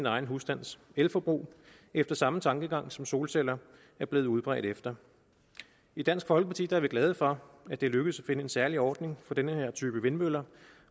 egen husstands elforbrug efter samme tankegang som solceller er blevet udbredt efter i dansk folkeparti er vi glade for at det er lykkedes at finde en særlig ordning for den her type vindmøller